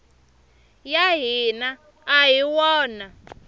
ya hina a hi wona